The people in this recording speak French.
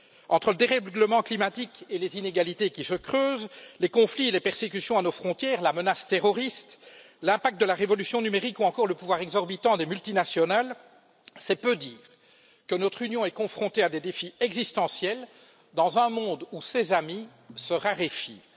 Entre le dérèglement climatique et les inégalités qui se creusent, les conflits et les persécutions à nos frontières, la menace terroriste, l'impact de la révolution numérique ou encore le pouvoir exorbitant des multinationales, c'est peu dire que notre Union est confrontée à des défis existentiels dans un monde où ses amis se raréfient.